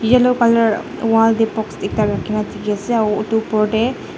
yellow colour wall tae box ekta rakhina dikhiase aru edu opor tae.